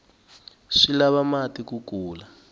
swi lava mati ku kula